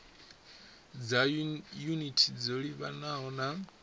dza yunithi dzo livhanaho na